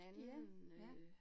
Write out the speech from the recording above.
Ja, ja